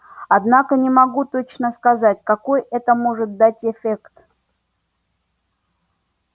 однако не могу точно сказать какой это может дать эффект